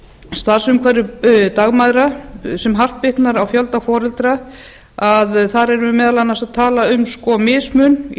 starfsumhverfi dagmæðra sem hart bitnar á fjölda foreldra þar erum vi á meðal annars að tala um mismun í